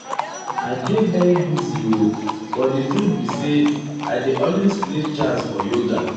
i dey very busy o but di truth be say i dey always create chance for yoga.